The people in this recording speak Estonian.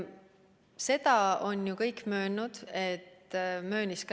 Seda on ju kõik möönnud.